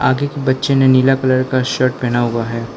आगे के बच्चे ने नीला कलर का शर्ट पहना हुआ है।